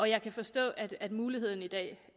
jeg kan forstå at at muligheden